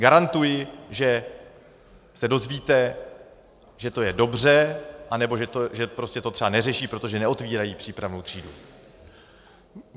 Garantuji, že se dozvíte, že to je dobře, anebo že to třeba neřeší, protože neotvírají přípravnou třídu.